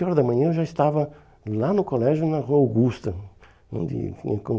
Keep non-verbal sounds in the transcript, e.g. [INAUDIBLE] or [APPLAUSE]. sete horas da manhã eu já estava lá no colégio, na rua Augusta, onde [UNINTELLIGIBLE]